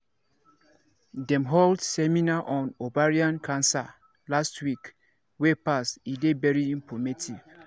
dem hold seminar on ovarian cancer last week wey pass e dey very informative